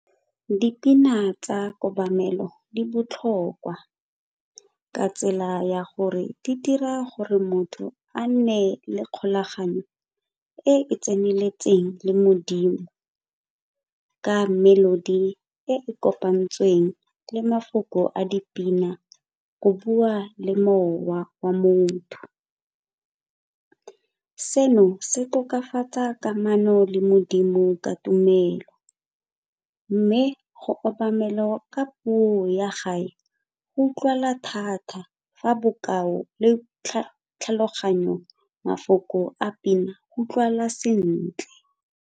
Dipina tsa kobamelo di botlhokwa ka tsela ya gore di dira gore motho a nne le kgolaganyo e e tseneletseng le Modimo ka melody e e kopantsweng le mafoko a dipina go bua le mowa wa motho. Seno se tokafatsa kamano le Modimo ka tumelo mme go obamelwa ka puo ya gae go utlwala thata fa bokao le tlhaloganyo mafoko a pina go utlwagala sentle.